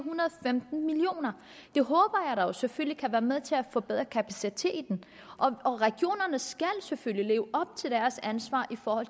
femten million kroner det håber jeg da selvfølgelig kan være med til at forbedre kapaciteten og regionerne skal selvfølgelig leve op til deres ansvar for at